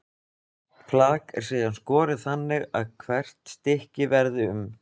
Hvert flak er síðan skorið þannig að hvert stykki verði um